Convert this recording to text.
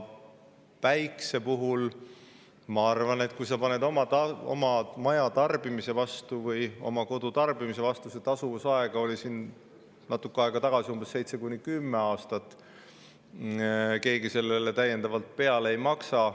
Päikse puhul, kui sa paned need oma maja tarbimise või kodutarbimise jaoks, oli tasuvusaeg natuke aega tagasi seitse kuni kümme aastat, keegi sellele täiendavalt peale ei maksa.